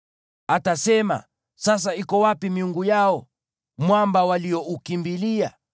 Atasema: “Sasa iko wapi miungu yao, mwamba walioukimbilia,